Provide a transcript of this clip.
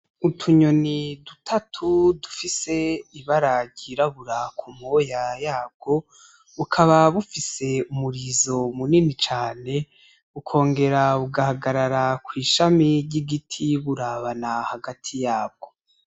Utunyoni dutatu dufise ibara ryirabura kumoya yabwo , bukaba bufise umurizo munini cane, bukongera bugahagarara kwishami ryigiti burabana hagati yabwo